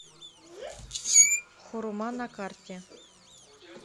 хурма на карте